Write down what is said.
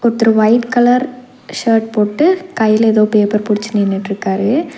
ஒருத்தர் white colour shirt போட்டு கைல எதோ பேப்பர் புடிச்சு நின்னுட்ருக்காரு.